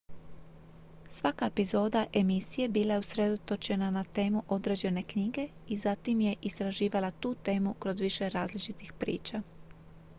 svaka epizoda emisije bila je usredotočena na temu određene knjige i zatim je istraživala tu temu kroz više različitih priča